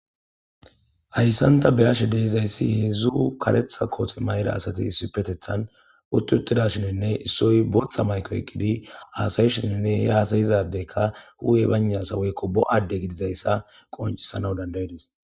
ayssanta beashe deizayssi hedzzu kaletha koote mayda asati isipetethan uttutidashininne issoy botha mayko yqqidi aasayishininne he aasayizadeyka hu7e bayna assa bo7adde gidizayssa qoncisana dandayidis